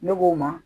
Ne b'o ma